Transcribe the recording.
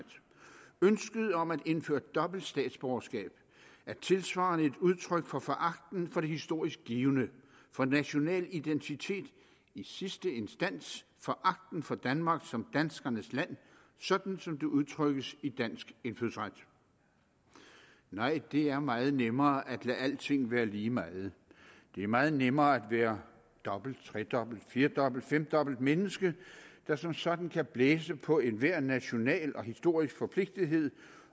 ønsket om at indføre dobbelt statsborgerskab er tilsvarende et udtryk for foragten for det historisk givne for national identitet i sidste instans foragten for danmark som danskernes land sådan som det udtrykkes i dansk indfødsret nej det er meget nemmere at lade alting være lige meget det er meget nemmere at være dobbelt tredobbelt firedobbelt femdobbelt menneske der som sådan kan blæse på enhver national og historisk forpligtethed